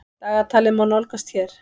Dagatalið má nálgast hér.